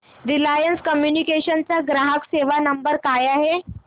Reliance Communications चा ग्राहक सेवा नंबर काय आहे